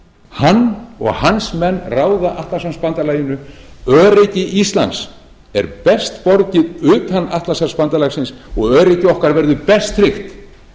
hann og hans menn ráða atlantshafsbandalaginu öryggi íslands er best borgið utan atlantshafsbandalagsins og öryggi okkar verður best tryggt